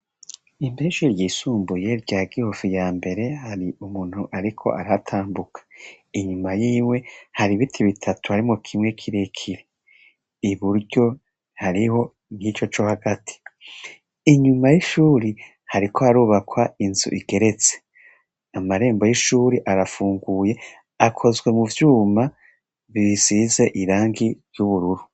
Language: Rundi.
Imbere y'ishure ryisumbuye rya Gihofi ya mbere hari umuntu ariko arahatambuka, inyuma yiwe hari ibiti bitatu harimwo kimwe kirekire, iburyo hariho nk'ico co hagati, inyuma y'ishuri hariko harubakwa inzu igeretse, amarembo y'ishuri arafunguye akozwe mu vyuma bisize irangi ry'ubururu.